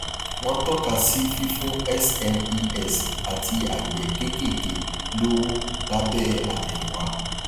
wọn tọka sí fífún smes àti àgbẹ kéékèèké lówó lábẹ àtẹyìnwá